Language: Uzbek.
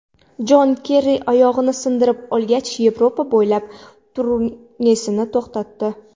Jon Kerri oyog‘ini sindirib olgach, Yevropa bo‘ylab turnesini to‘xtatdi.